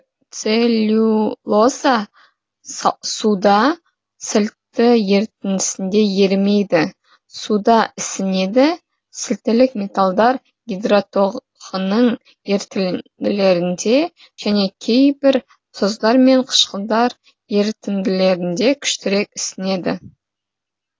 целлюлоза суда сілті ерітіндісінде ерімейді суда ісінеді сілтілік металдар гидротоғының ерітінділерінде және кейбір тұздар мен қышқылдар ерітінділерінде күштірек ісінеді